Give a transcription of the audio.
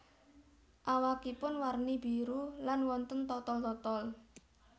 Awakipun warni biru lan wonten totol totol